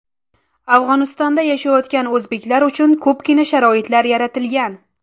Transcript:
Afg‘onistonda yashayotgan o‘zbeklar uchun ko‘pgina sharoitlar yaratilgan.